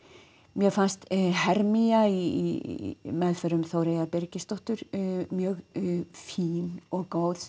mér fannst í meðförum Þóreyjar Birgisdóttur mjög fín og góð